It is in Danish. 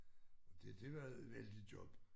Og det det var vældigt job